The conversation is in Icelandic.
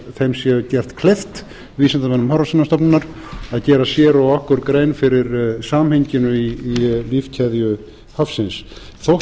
þeim sé gert kleift vísindamönnum hafrannsóknastofnunar að gera sér og okkur grein fyrir samhenginu í lífkeðju hafsins þótt